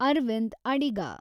Arvind Adiga